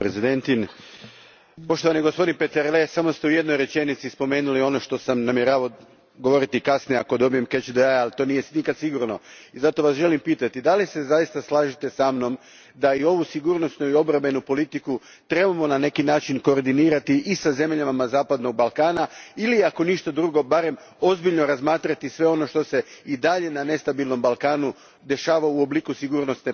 Poštovani gospodine Peterle, samo ste u jednoj rečenici spomenuli ono što sam namjeravao govoriti kasnije ako dobijem catch the eye, ali to nije nikada sigurno, i zato vas želim pitati da li se zaista slažete sa mnom da i ovu sigurnosnu i obrambenu politiku trebamo na neki način koordinirati i sa zemljama zapadnog Balkana ili ako ništa drugo barem ozbiljno razmatrati sve ono što se dalje na nestabilnom Balkanu dešava u obliku sigurnosne politike Europske unije.